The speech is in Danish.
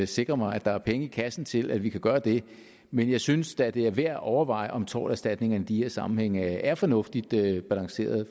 sikre mig at der er penge i kassen til at vi kan gøre det men jeg synes da at det er værd at overveje om torterstatning i de her sammenhænge er fornuftigt balanceret